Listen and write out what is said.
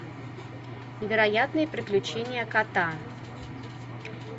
невероятные приключения кота